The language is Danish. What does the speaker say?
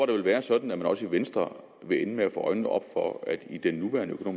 det vil være sådan at man også i venstre vil ende med at få øjnene op for at i den nuværende